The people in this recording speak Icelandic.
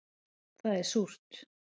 Það er súrt